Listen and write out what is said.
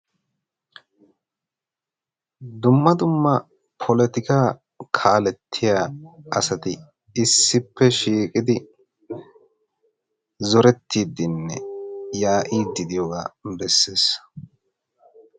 dumma dumma polotika kaalettiya asati issippe shiiqidi zorettiiddinne yaa'iiddi diyoogaa bessees